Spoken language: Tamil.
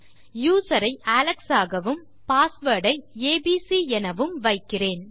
யூசர்நேம் ஐ அலெக்ஸ் ஆகவும் பாஸ்வேர்ட் ஐ ஏபிசி எனவும் வைக்கிறேன்